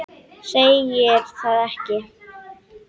Segir það ekki?